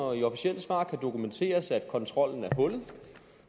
og i officielle svar kan dokumenteres at kontrollen er hullet